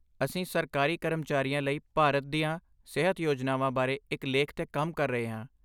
ਅਸੀਂ ਸਰਕਾਰੀ ਕਰਮਚਾਰੀਆਂ ਲਈ ਭਾਰਤ ਦੀਆਂ ਸਿਹਤ ਯੋਜਨਾਵਾਂ ਬਾਰੇ ਇੱਕ ਲੇਖ 'ਤੇ ਕੰਮ ਕਰ ਰਹੇ ਹਾਂ।